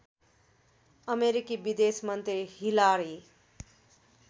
अमेरिकी विदेशमन्त्री हिलारी